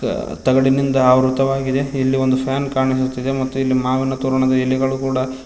ಅ ತಗಡಿನಿಂದ ಆವೃತವಾಗಿದೆ ಇಲ್ಲಿ ಒಂದು ಫ್ಯಾನ್ ಕಾಣಿಸುತ್ತಿದೆ ಮತ್ತು ಇಲ್ಲಿ ಮಾವಿನ ತೋರಣದ ಎಲೆಗಳು ಕೂಡ--